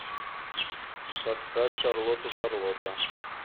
поставь шарлоту шарлота